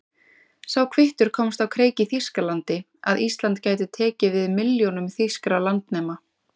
Sá kvittur komst á kreik í Þýskalandi, að Ísland gæti tekið við milljónum þýskra landnema.